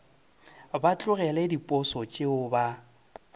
ba tlogele diposo tšeo ba